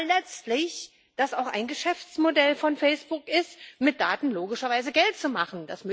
Weil letztlich das auch ein Geschäftsmodell von Facebook ist, mit Daten logischerweise Geld zu machen.